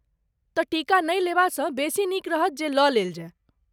तँ टीका नहि लेबासँ बेसी नीक रहत जे लऽ लेल जाय।